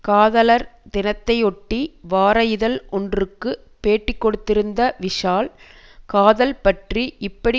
காதலர் தினத்தையொட்டி வார இதழ் ஒன்றுக்கு பேட்டிக்கொடுத்திருந்த விஷால் காதல் பற்றி இப்படி